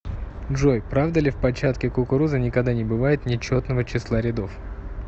джой правда ли в початке кукурузы никогда не бывает нечетного числа рядов